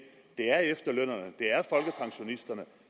det er efterlønnerne